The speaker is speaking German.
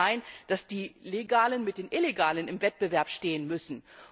Es darf nicht sein, dass die Legalen mit den Illegalen im Wettbewerb stehen müssen.